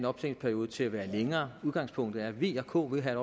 optjeningsperioden til at være længere udgangspunktet er at v og k vil have